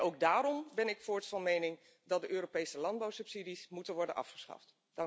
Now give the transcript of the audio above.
Ook daarom ben ik voorts van mening dat de Europese landbouwsubsidies moeten worden afgeschaft.